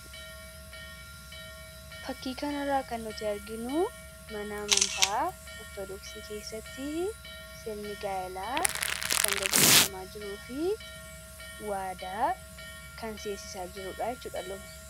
Fakkii kanarra kan nuti arginu Mana amantaa ortodooksii keessatti sirni gaa'eela kan geggeeffamaa jiruu fi waadaa kan seensiisa jirudha.